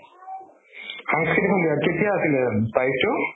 সাংস্কৃতিক সন্ধ্যা কেতিয়া আছিলে তাৰিখতো?